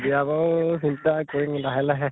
বিয়া আকৌ চিন্তা কৰিম লাহে লাহে